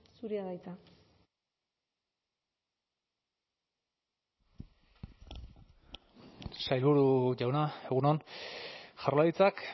zurea da hitza sailburu jauna egun on jaurlaritzak